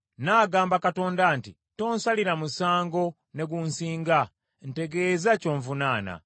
Nnaagamba Katonda nti, Tonsalira musango ne gunsinga, ntegeeza ky’onvunaana.